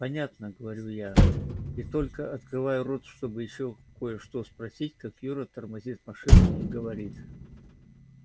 понятно говорю я и только открываю рот чтобы ещё кое-что спросить как юра тормозит машину и говорит